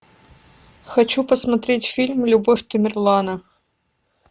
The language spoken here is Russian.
хочу посмотреть фильм любовь тамерлана